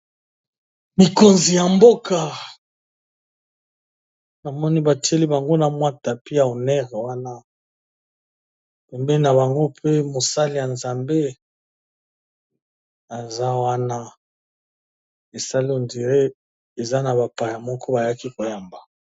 Mikonzi ya mboka na moni ba tieli bango na mwa tapis ya honeur wana pembeni na bango pe mosali ya nzambe eza wana e sala on dirait eza na bapaya moko ba yaki ko yamba .